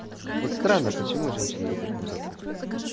вот странно почему женщины любят мудаков